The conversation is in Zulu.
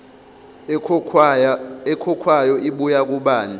ekhokhwayo ibuya kubani